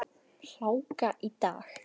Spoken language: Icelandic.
Hláka í dag.